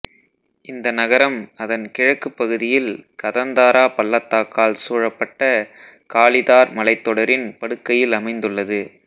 இந்த நகரம் அதன் கிழக்குப் பகுதியில் கதந்தாரா பள்ளத்தாக்கால் சூழப்பட்ட காளி தார் மலைத்தொடரின் படுக்கையில் அமைந்துள்ளது